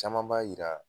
Caman b'a yira